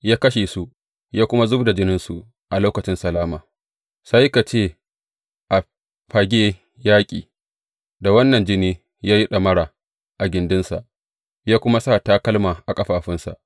Ya kashe su, ya kuma zub da jininsu a lokacin salama sai ka ce a fage yaƙi, da wannan jini ya yi ɗamara a gindinsa, ya kuma sa takalma a ƙafafunsa.